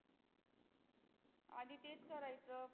आधी तेच करायचं.